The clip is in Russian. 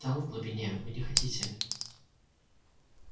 там в глубине вы не хотите